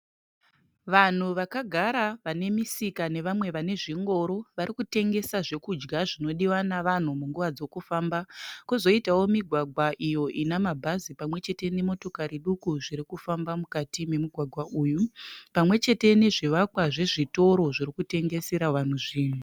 Vanhu vakagara vane misika nevamwe vane zvingoro, varikutengesa zvekudya zvinodiwa navanhu munguva dzokufamba, kozoitawo migwagwa iyo ina mabhazi pamwechete nemotikari duku zvirikufamba mukati memugwagwa uyu pamwechete nezvivakwa zvezvitoro zvirikutengesera vanhu zvinhu.